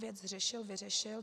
Věc řešil, vyřešil.